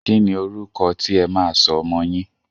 Kíni orúkọ tí ẹ máa sọ ọmọ yín?